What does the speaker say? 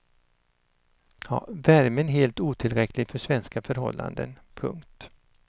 Värmen helt otillräcklig för svenska förhållanden. punkt